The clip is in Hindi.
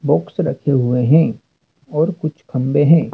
बॉक्स रखे हुए हैं और कुछ खंभे हैं।